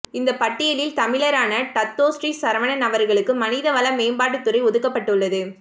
இந்த பட்டியலில் தமிழரான டத்தோஸ்ரீ சரவணன் அவர்களுக்கு மனித வள மேம்பாட்டுத் துறை ஒதுக்கப்பட்டுள்ளது